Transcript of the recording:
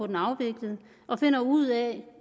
den afviklet og finder ud af